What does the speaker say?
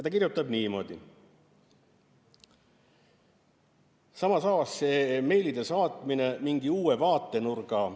Ta kirjutab niimoodi: "Samas avas see meilide saatmine mingi uue vaatenurga.